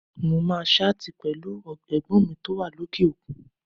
Mo máa ṣáàtì pẹ̀lú Ẹ̀gbọ́n mi tó wà lókè òkun